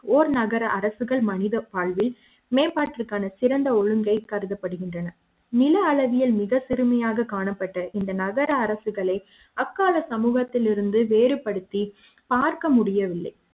ஓர் நகர அரசுகள் மனித வாழ்வில் மேம்பாட்டு க்கான சிறந்த ஒழுங்கைக் கருதப்படுகின்றன நில அளவிய ல் மிக பெருமை யாக காணப்பட்ட இந்த நகர அரசுகளை அக்கால சமூக த்திலிருந்து வேறுபடுத்தி பார்க்க முடியவில்லை